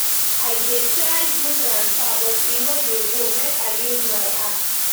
I dey try do transfer but e no dey go, make I use my app.